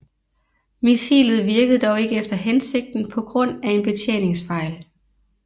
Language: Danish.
Missilet virkede dog ikke efter hensigten på grund af en betjeningsfejl